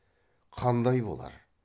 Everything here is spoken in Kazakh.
қандай болар